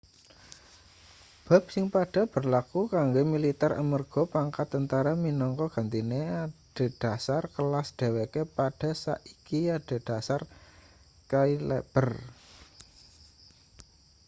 bab sing padha berlaku kanggo militer amarga pangkat tentara minangka gentine adhedhasar kelas dheweke padha saiki adhedhasar cailaber